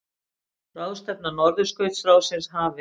Ráðstefna Norðurskautsráðsins hafin